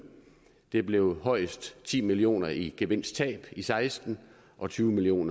det bliver højst ti million kroner i gevinsttab i seksten og tyve million